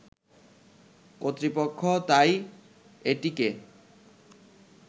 কর্তৃপক্ষ তাই এটিকে